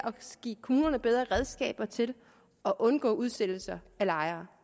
give kommunerne bedre redskaber til at undgå udsættelser af lejere